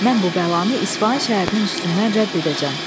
Mən bu bəlanı İsfahan şəhərinin üstündən rədd edəcəm.